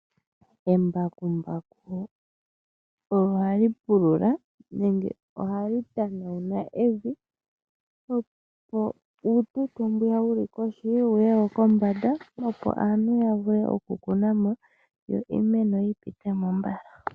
Embakumbaku ohali pulula nenge ohali tanauna evi, opo uututo mbwiya wu li kohi wu ye wo kombanda, opo aantu ya vule okukuna mo yo iimeno yi pite mo mbala.